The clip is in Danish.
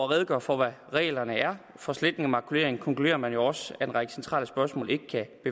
redegør for hvad reglerne for sletning og makulering er konkluderer man jo også at en række centrale spørgsmål ikke kan